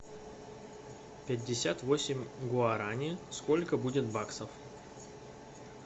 пятьдесят восемь гуарани сколько будет баксов